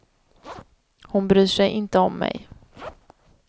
Hon bryr sig inte om mig.